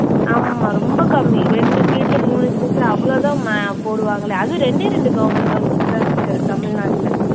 ஆமா ரொம்ப கம்மி ரெண்டு seat உ மூணு seat உ அவளோ தான் ம போடுவாங்களே. அதுவும் ரெண்டே ரெண்டு government college தான் இருக்கு தமிழ்நாட்டுல